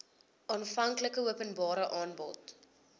aanvanklike openbare aanbod